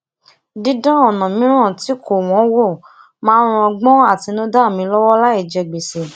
didan ona miiran ti ko won wo maa n ran ogbon atinuda mi lowo lai je gbese